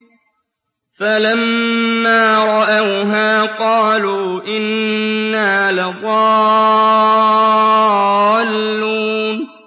فَلَمَّا رَأَوْهَا قَالُوا إِنَّا لَضَالُّونَ